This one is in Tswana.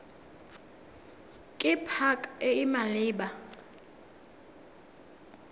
ke pac e e maleba